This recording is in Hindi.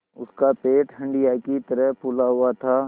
उसका पेट हंडिया की तरह फूला हुआ था